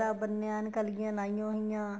ਸਹਿਰਾ ਬਣਿਆ ਐੱਨ ਕੰਲਗੀਆਂ ਲਾਈਆਂ ਹੋਈਆਂ